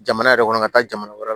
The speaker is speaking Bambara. Jamana yɛrɛ kɔnɔ ka taa jamana wɛrɛw la